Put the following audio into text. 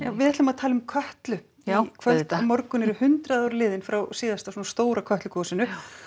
við ætlum að tala um Kötlu í kvöld á morgun eru hundrað ár liðin frá síðasta Kötlugosi og